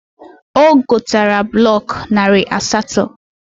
O gotara blọk narị asatọ